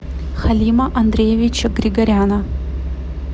халима андреевича григоряна